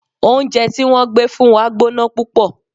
Oúnjẹ tí wọ́n gbé fún wa gbóná púpọ̀.